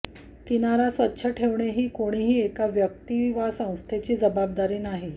किनारा स्वच्छ ठेवणे ही कोणाही एका व्यक्ती वा संस्थेची जबाबदारी नाही